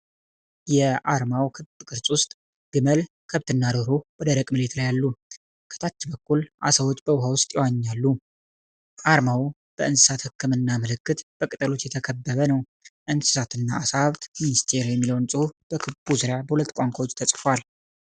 የአርማው ክብ ቅርጽ ውስጥ፣ ግመል፣ ከብትና ዶሮ በደረቅ መሬት ላይ አሉ። ከታች በኩል ዓሳዎች በውሃ ውስጥ ይዋኛሉ። አርማው በእንስሳት ህክምና ምልክት፣ በቅጠሎች የተከበበ ነው። "እንስሳትና ዓሳ ሀብት ሚኒስቴር" የሚለው ጽሑፍ በክቡ ዙሪያ በሁለት ቋንቋዎች ተጽፏል።